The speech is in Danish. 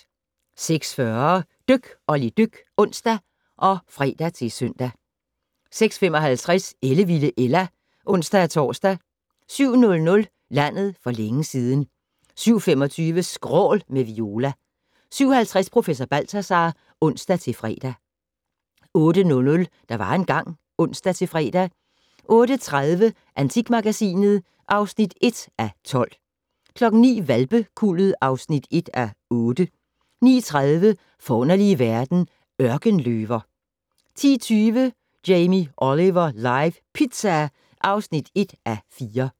06:40: Dyk Olli dyk (ons og fre-søn) 06:55: Ellevilde Ella (ons-tor) 07:00: Landet for længe siden 07:25: Skrål - med Viola 07:50: Professor Balthazar (ons-fre) 08:00: Der var engang ... (ons-fre) 08:30: Antikmagasinet (1:12) 09:00: Hvalpekuldet (1:8) 09:30: Forunderlige verden - Ørkenløver 10:20: Jamie Oliver live - pizza (1:4)